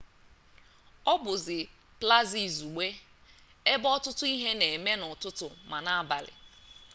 ọ bụzi plaza izugbe ebe ọtụtụ ihe na-eme n'ụtụtụ ma n'abalị